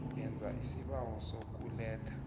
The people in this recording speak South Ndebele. yenza isibawo sokuletha